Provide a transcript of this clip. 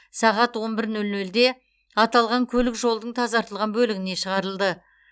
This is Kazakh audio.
сағат он бір нөл нөлде аталған көлік жолдың тазартылған бөлігіне шығарылды